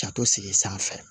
Ka to segin sanfɛ